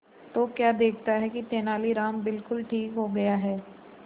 तो क्या देखता है कि तेनालीराम बिल्कुल ठीक हो गया है